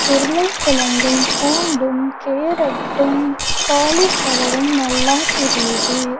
உருளைக்கிழங்கும் பூண்டும் கேரட்டும் காலிஃப்ளவரும் நல்லா தெரியுது.